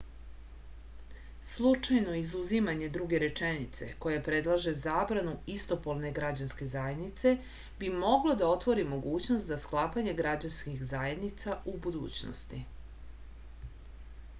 slučajno izuzimanje druge rečenice koja predlaže zabranu istopolne građanske zajednice bi moglo da otvori mogućnost za sklapanje građanskih zajednica u budućnosti